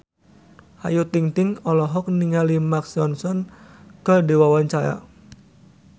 Ayu Ting-ting olohok ningali Mark Ronson keur diwawancara